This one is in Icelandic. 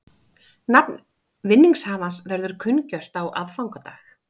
Nafn vinningshafans verður kunngjört á aðfangadag